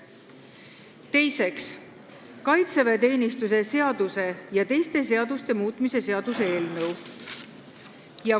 Teiseks, kaitseväeteenistuse seaduse ja teiste seaduste muutmise seaduse eelnõu.